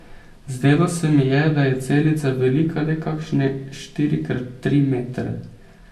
Zdelo se mi je, da je celica velika le kakšne štiri krat tri metre.